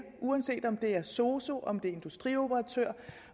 uanset om det er sosu om det er industrioperatør